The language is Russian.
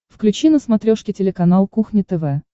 включи на смотрешке телеканал кухня тв